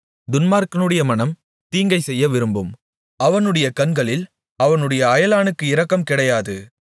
துன்மார்க்கனுடைய மனம் தீங்கைச் செய்ய விரும்பும் அவனுடைய கண்களில் அவனுடைய அயலானுக்கு இரக்கம் கிடையாது